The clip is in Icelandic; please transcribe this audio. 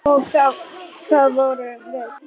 Og það vorum við.